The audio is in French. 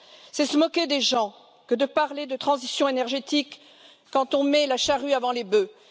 C'est se moquer des gens que de parler de transition énergétique quand on met la charrue avant les bœufs.